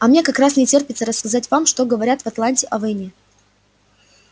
а мне как раз не терпится рассказать вам что говорят в атланте о войне